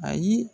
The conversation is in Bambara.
Ayi